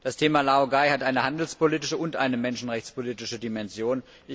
Das Thema Laogai hat eine handelspolitische und eine menschenrechtspolitische Dimension.